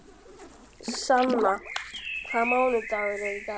Sanna, hvaða mánaðardagur er í dag?